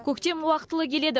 көктем уақытылы келеді